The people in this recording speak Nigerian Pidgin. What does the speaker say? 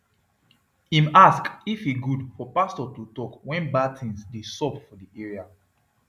im ask if e good for pastor to talk when bad things dey sup for di area